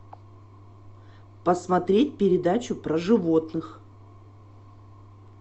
посмотреть передачу про животных